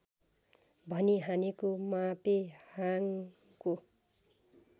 भनी हानेको मापेहाङको